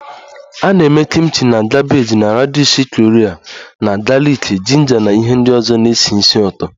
A na-eme Kimchi na kabeeji na radishi Korea na galiki, jinja na ihe ndị ọzọ na-esi ísì ụtọ